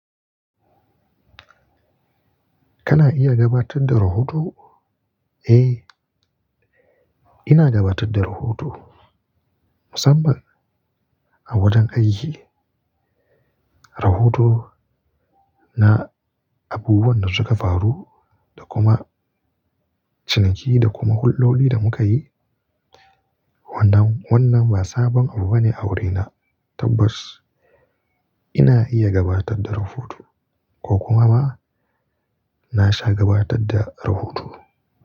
Kana iya gabatar da rahoto? Eh, ina dabatar da rahoto. Musamman a wajen aiki. Rahoto na abubuwan da suka faru da kuma ciniki da kuma huldodi da muka yi. Wannan, wannan ba sabon abu bane a wurina. Tabbas ina iya gabatar da rahoto ko kuma ba, na sha gabatar da rahoto.